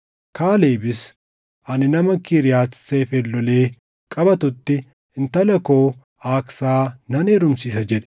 Kaalebis, “Ani nama Kiriyaati Seefer lolee qabatutti intala koo Aaksaa nan heerumsiisa” jedhe.